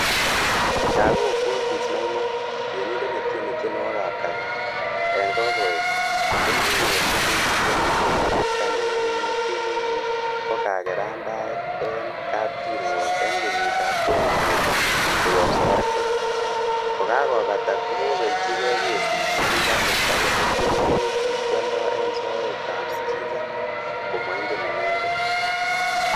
Jacobo Bonfince Maina, Tienindet netieni tienwogikab kasari en kokoeg kokinyor silingisiek milionisiek taman ak mut kenuch mut ko kagerandaet en kapkirwok en kenyitab 2014 koyob safaricom, kokakobata kokobelchige kesit nekikasirta kole tienwogikyik kioldo en soetab skiza, Komoingen inendet.